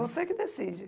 Você que decide.